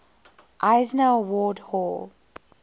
eisner award hall